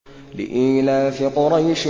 لِإِيلَافِ قُرَيْشٍ